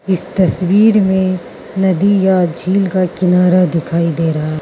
इस तस्वीर में नदी या झील का किनारा दिखाई दे रहा है।